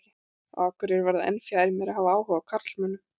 Á Akureyri varð það enn fjær mér að hafa áhuga á karlmönnum.